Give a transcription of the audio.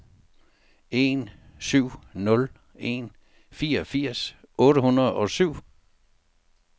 en syv nul en fireogfirs otte hundrede og syv